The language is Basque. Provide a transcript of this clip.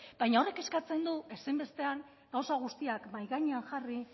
baina horrek eskatzen du ezinbestean gauza guztiak mahai gainean jarri